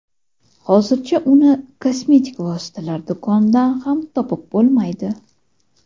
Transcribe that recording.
Hozircha uni kosmetik vositalar do‘konidan ham topib bo‘lmaydi.